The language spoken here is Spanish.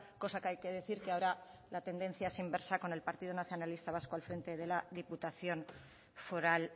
cosa que hay que decir que ahora la tendencia es inversa con el partido nacionalista vasco al frente de la diputación foral